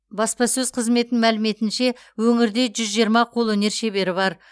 баспасөз қызметінің мәліметінше өңірде жүз жиырма қолөнер шебері бар